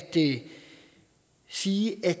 sige at